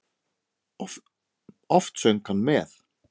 Oft söng hann með.